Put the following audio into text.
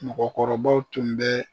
Mɔgɔkɔrɔbaw tun bɛ